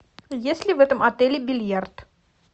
есть ли в этом отеле бильярд